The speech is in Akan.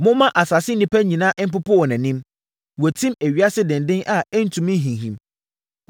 Momma asase nyinaa mpopo wɔ nʼanim. Wɔatim ewiase denden a ɛntumi nhinhim.